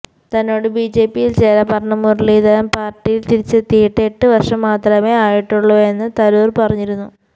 തന്നോട് ബിജെപിയില് ചേരാന് പറഞ്ഞ മുരളീധരന് പാര്ട്ടിയില് തിരിച്ചെത്തിയിട്ട് എട്ട് വര്ഷം മാത്രമേ ആയിട്ടുള്ളുവെന്ന് തരൂര് പറഞ്ഞിരുന്നു